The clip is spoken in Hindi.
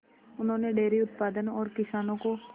उन्होंने डेयरी उत्पादन और किसानों को